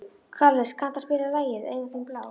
Karles, kanntu að spila lagið „Augun þín blá“?